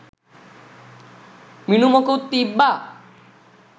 මිනුමකුත් තිබ්බා.